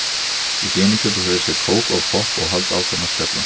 Í hléinu kaupa þau sér kók og popp og halda áfram að spjalla.